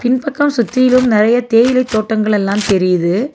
இந் பக்கோ சுத்தியிலு நெறைய தேயிலை தோட்டங்கள் எல்லா தெரியிது.